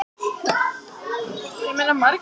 Svanbjörg, læstu útidyrunum.